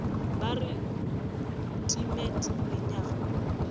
ba re timet lenyaga legadima